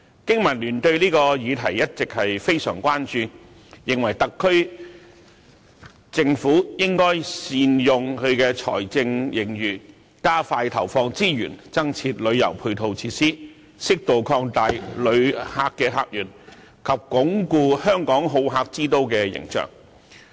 經民聯對這項議題一直非常關注，認為特區政府應該善用財政盈餘，加快投放資源，增設旅遊配套設施，適度擴大旅客客源及鞏固香港好客之都的形象。